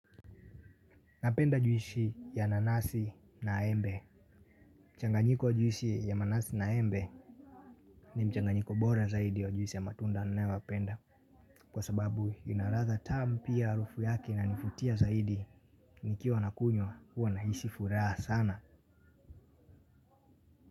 Napenda juisi ya nanasi na embe. Mchanganyiko wa juisi ya nanasi na embe ni mchanganyiko bora zaidi ya juisi ya matunda nayopenda. Kwa sababu ina latha tamu pia arufu yake inanivutia zaidi. Nikiwa na kunywa huwa nahisi furaha sana.